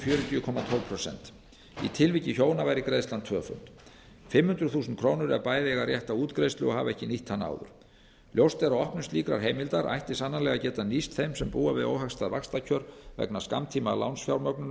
fjörutíu komma tólf prósent í tilviki hjóna væri greiðslan tvöföld fimm hundruð þúsund krónur ef bæði eiga rétt á útgreiðslu og hafa ekki nýtt hana áður ljóst er að opnun slíkrar heimildar ætti sannanlega að geta nýst þeim sem búa við óhagstæð vaxtakjör vegna